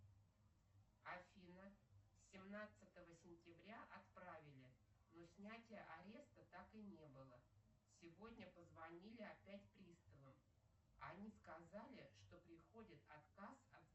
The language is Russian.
афина семнадцатого сентября отправили но снятие ареста так и не было сегодня позвонили опять приставы они сказали что приходит отказ